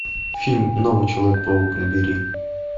фильм новый человек паук набери